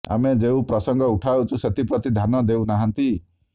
ଆମେ ଯେଉଁ ପ୍ରସଙ୍ଗ ଉଠାଉଛୁ ସେଥିପ୍ରତି ଧ୍ୟାନ ଦେଉ ନାହାନ୍ତି